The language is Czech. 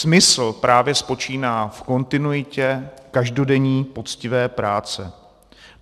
Smysl právě spočívá v kontinuitě každodenní poctivé práce.